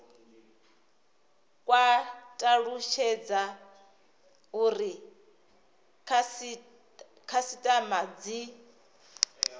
kwa talutshedza uri khasitama dzi